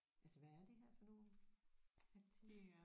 Altså hvad er det her for nogle papting